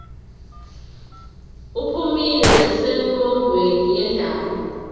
uphumile nasemongweni wendaba